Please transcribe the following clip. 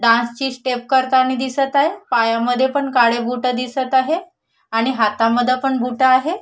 Dance ची step करताणी दिसत आहे पायामद्धे पण काळे बूट दिसत आहे आणि हातामध्ये पण बूट आहे.